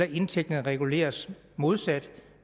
indtægterne reguleres modsat